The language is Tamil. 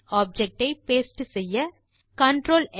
ஆப்ஜெக்ட் ஐ பாஸ்டே செய்ய CTRLX